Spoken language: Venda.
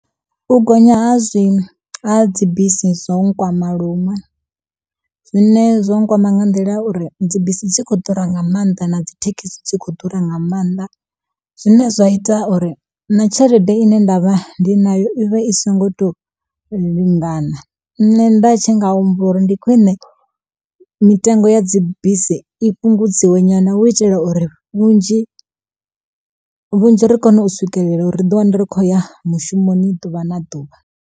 U gonya ha zwi ha dzi bisi zwo nkwama luṅwe, zwine zwo nkwama nga nḓila uri dzi bisi dzi kho ḓura nga maanḓa na dzi thekhisi dzi kho ḓura nga maanḓa. Zwine zwa ita uri na tshelede ine nda vha ndi nayo i vha i songo to lingana, nṋe nda tshi nga humbela uri ndi khwiṋe mitengo ya dzi bisi i fhungudziwe nyana hu itela uri vhunzhi vhunzhi ri kone u swikelela uri ri ḓi wane ri khoya mushumoni ḓuvha na ḓuvha.